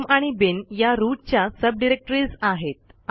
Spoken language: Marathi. होम आणि बिन या रूट च्या सबडिरेक्टरीज आहेत